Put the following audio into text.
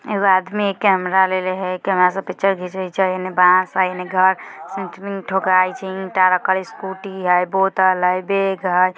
एगो आदमी कैमरा लेले हेय कैमरा से पिक्चर घिचे हेय इने बांस हैं इने घर सेंट्रिंग ठोकाय छै ईटा रखल स्कूटी हेय बोतल हेय बेग हेय।